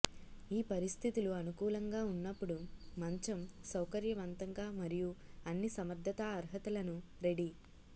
ఈ పరిస్థితులు అనుకూలంగా ఉన్నప్పుడు మంచం సౌకర్యవంతంగా మరియు అన్ని సమర్థతా అర్హతలను రెడీ